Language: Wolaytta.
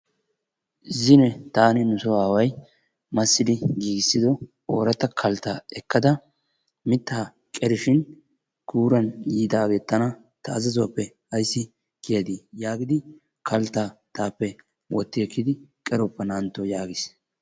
Zino taani nuso aaway massidi giigissido ooratta kalttaa ekkada mittaa qerishin guuran yiidaagee tana ta azazuwappe ayssi kiyadii yaagidi kalttaa taappe wotti ekkidi qeroppa naa"antto yaagis.